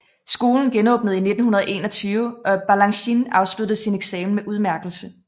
Skolen genåbnede i 1921 og Balanchine afsluttede sin eksamen med udmærkelse